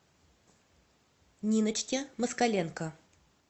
ниночке москаленко